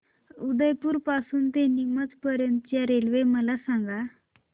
उदयपुर पासून ते नीमच पर्यंत च्या रेल्वे मला सांगा